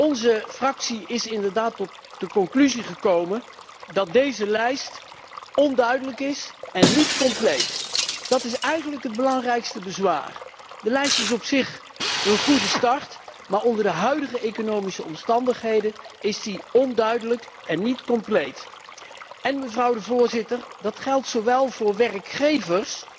Onze fractie is tot de conclusie gekomen dat deze lijst onduidelijk is en niet compleet. Dat is eigenlijk het belangrijkste bezwaar. De lijst is op zich een goede start maar onder de huidige economische omstandigheden is die onduidelijk en niet compleet. Dat geldt zowel voor werkgevers